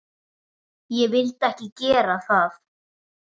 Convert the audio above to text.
Ég vildi ekki gera það.